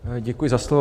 Děkuji za slovo.